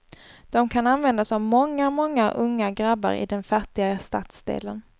Dom kan användas av många, många unga grabbar i den fattiga stadsdelen.